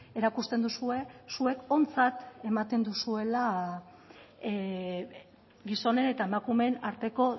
erakusten duzue zuek ontzat ematen duzuela gizonen eta emakumeen arteko